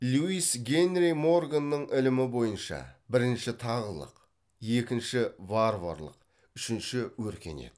льюис генри морганның ілімі бойынша бірінші тағылық екінші варварлық үшінші өркениет